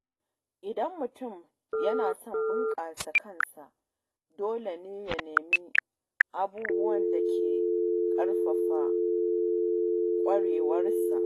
Idan mutum yana son bunƙasa kansa, dole ne ya nemi abubuwan da ke ƙarfafa ƙwarewarsa.